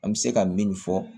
An bɛ se ka min fɔ